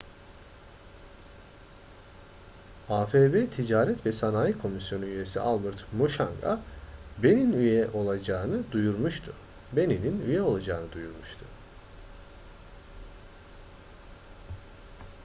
afb ticaret ve sanayi komisyonu üyesi albert muchanga benin'in üye olacağını duyurmuştu